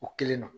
O kelen don